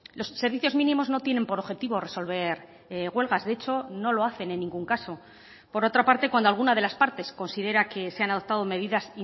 los servicios mínimos no tienen por objetivo resolver huelgas de hecho no lo hacen en ningún caso por otra parte cuando alguna de las partes considera que se han adoptado medidas